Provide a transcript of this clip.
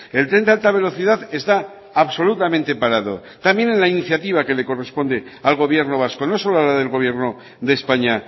el tren de alta velocidad está absolutamente parado también en la iniciativa que le corresponde al gobierno vasco no solo a la del gobierno de españa